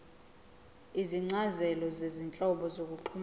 izincazelo zezinhlobo zokuxhumana